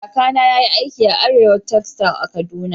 Kaka na yayi aiki da Arewa textile a'Kaduna.